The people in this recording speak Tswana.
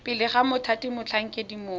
pele ga mothati motlhankedi mongwe